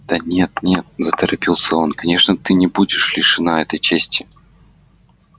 да нет нет заторопился он конечно ты не будешь лишена этой чести